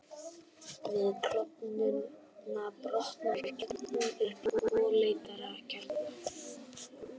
Við klofnunina brotnar kjarninn upp í tvo léttari kjarna.